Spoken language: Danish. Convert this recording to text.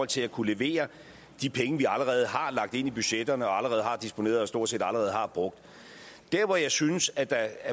til at kunne levere de penge vi allerede har lagt ind i budgetterne og allerede har disponeret og stort set allerede har brugt der hvor jeg synes at der